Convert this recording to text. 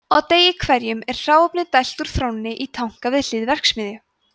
á degi hverjum er hráefni dælt úr þrónni í tanka við hlið verksmiðju